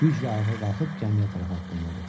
Güclə ayağa qalxıb gəmiyə tərəf addımladı.